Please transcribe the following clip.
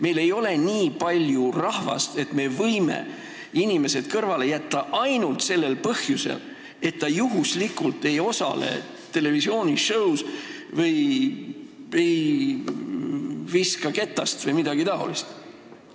Meil ei ole nii palju rahvast, et me võime inimesed kõrvale jätta ainult sellel põhjusel, et ta juhuslikult ei osale televisiooni-show's või ei viska ketast vms.